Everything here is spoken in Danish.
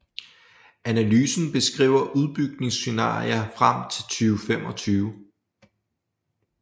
Analysen beskriver udbygningsscenarier frem til 2025